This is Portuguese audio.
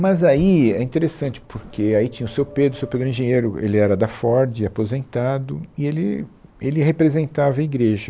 Mas aí, é interessante, porque aí tinha o seu Pedro, o seu Pedro era engenheiro, ele era da Ford, aposentado, e ele, ele representava a igreja.